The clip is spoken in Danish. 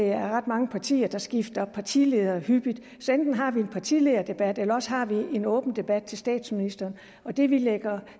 er ret mange partier der skifter partileder hyppigt så enten har vi en partilederdebat eller også har vi en åben debat med statsministeren og det vi lægger